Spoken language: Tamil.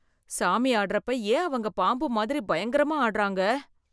சாமி ஆடறப்ப ஏன் அவங்க பாம்பு மாதிரி பயங்கரமா ஆடுறாங்க?